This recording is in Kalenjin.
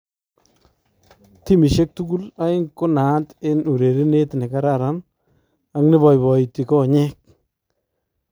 Timisyeek tukul aeng ko naat en urerenet nekararan ak ne baibaiti konyeek